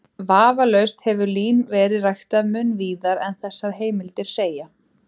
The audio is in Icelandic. Vafalaust hefur lín verið ræktað mun víðar en þessar heimildir segja.